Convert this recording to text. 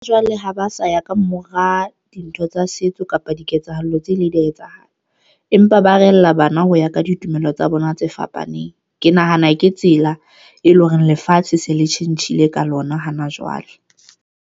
Jwale ha ba sa ya kamora dintho tsa setso kapa diketsahalo tse le di ya etsahala empa ba rehella bana ho ya ka ditumelo tsa bona tse fapaneng. Ke nahana ke tsela e leng hore lefatshe se le tjhentjhile ka lona hana jwale.